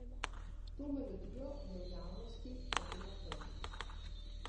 To melodijo je v javnosti zapela prvič.